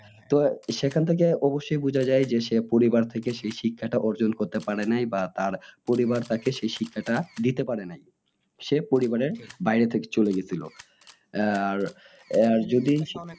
তো সেখান থেকে অবশ্যই বোঝা যাই যে সে পরিবার থেকে সেই শিক্ষাটা অর্জন করতে পারে নাই বা তার পরিবার তাকে সেই শিক্ষাটা দিতে পারে নাই সে বাইরে থেকে চলে গিয়েছিল আহ আর